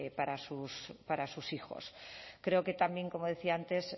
para sus hijos creo que también como decía antes